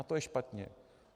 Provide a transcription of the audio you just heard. A to je špatně.